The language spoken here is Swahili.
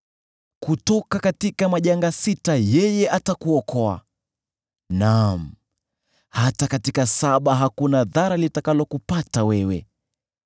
Kutoka majanga sita atakuokoa; naam, hata katika saba hakuna dhara litakalokupata wewe.